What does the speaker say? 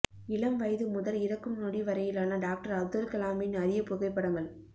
இளம் வயது முதல் இறக்கும் நொடி வரையிலான டாக்டர் அப்துல் கலாமின் அறிய புகைப்படங்கள்